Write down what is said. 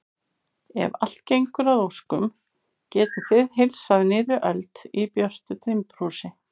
Ef allt gengur að óskum getið þið heilsað nýrri öld í björtu timburhúsi.